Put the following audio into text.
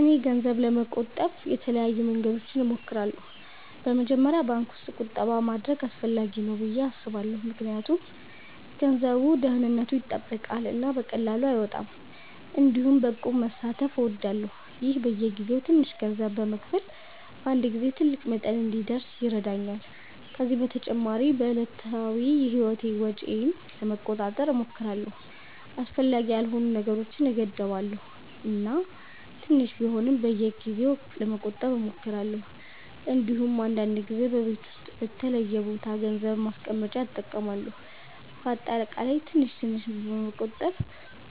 እኔ ገንዘብ ለመቆጠብ የተለያዩ መንገዶችን እሞክራለሁ። በመጀመሪያ ባንክ ውስጥ ቁጠባ ማድረግ አስፈላጊ ነው ብዬ አስባለሁ ምክንያቱም ገንዘቡ ደህንነቱ ይጠበቃል እና በቀላሉ አይወጣም። እንዲሁም በእቁብ መሳተፍ እወዳለሁ፣ ይህም በየጊዜው ትንሽ ገንዘብ በመክፈል በአንድ ጊዜ ትልቅ መጠን እንዲደርስ ይረዳኛል። ከዚህ በተጨማሪ በዕለታዊ ህይወቴ ወጪዬን ለመቆጣጠር እሞክራለሁ፣ አስፈላጊ ያልሆኑ ነገሮችን እገድባለሁ እና ትንሽ ቢሆንም በየጊዜው ለመቆጠብ እሞክራለሁ። እንዲሁም አንዳንድ ጊዜ በቤት ውስጥ በተለየ ቦታ ገንዘብ ማስቀመጫ እጠቀማለሁ። በአጠቃላይ ትንሽ ትንሽ በመቆጠብ